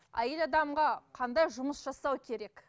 әйел адамға қандай жұмыс жасау керек